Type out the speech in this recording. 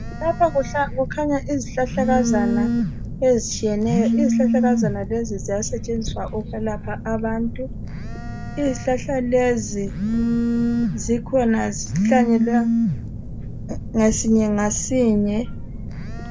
Lapha kukhanya izihlahlakazana ezitshiyeneyo. Izihlahlakazana lezi ziyasetshenziswa ukwelapha abantu. Izihlahla lezi zikhona zihlanyelwe ngasinye ngasinye.